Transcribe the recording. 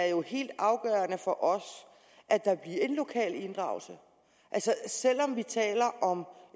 jo er helt afgørende for os at der bliver en lokal inddragelse selv om vi taler om